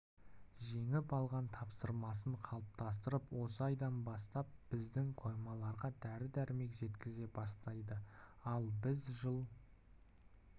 жеңіп алған тапсырысын қалыптастырып осы айдан бастап біздің қоймаларға дәрі-дәрмек жеткізе бастайды ал біз жыл